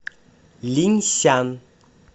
линьсян